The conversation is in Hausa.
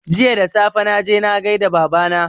Jiya da safe, na je na gai da Baba na